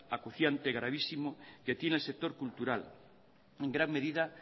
acuciante y gravísimo que tiene el sector cultural en gran medida